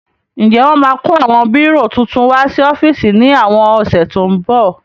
Ǹjẹ́ wọ́n máa kó àwọn bírò titun wá sí ọ́fíìsì ní àwọn ọ̀sẹ̀ tó ń bọ̀?